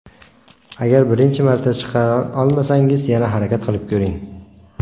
Agar birinchi marta chiqara olmasangiz, yana harakat qilib ko‘ring.